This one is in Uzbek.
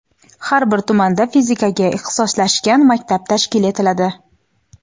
Har bir tumanda fizikaga ixtisoslashgan maktab tashkil etiladi.